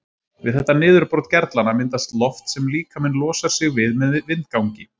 Við þetta niðurbrot gerlanna myndast loft sem líkaminn losar sig við með vindgangi.